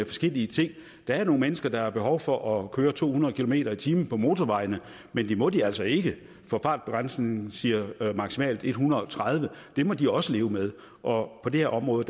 forskellige ting der er nogle mennesker der har behov for at køre to hundrede kilometer per time på motorvejene men det må de altså ikke for fartbegrænsningen siger maksimalt en hundrede og tredive det må de også leve med og på det her område